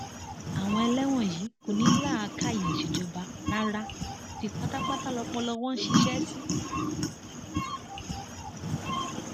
àwọn eléwọnyí kò ní làákàyè ìṣèjọba rárá odi pátápátá lọpọlọ wọn ń ṣiṣẹ sí